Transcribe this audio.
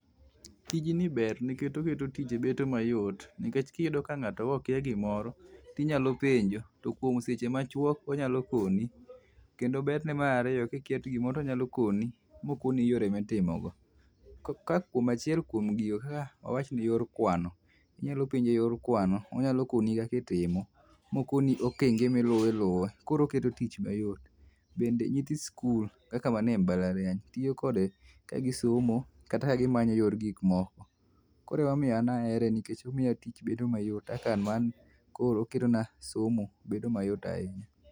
Tijni ber nikech oketo tich bedo mayot, nikech kiyudo ka ng'ato okia gimoro, tinyalo penjo to kuom seche machuok onyalo koni. Kendo berne mar ariyo kiketo gimoro to onyalo koni mokoni yore mitimogo. Kaka achiel kuom gino wawach ni yor kuano, inyalo penje yor kuano onyalo koni kaka itimo, mokoni okenge miluwo iluwo. Koro oketo tich mayot. Bende nyithi sikul kaka wan e mbalariany tiyo kode e somo kata ka gimanyo yor gik moko. Koro emomiyo an ahere nikech omiya tich bedo mayot kaka ma an koro oketona somo bedo mayot ahinya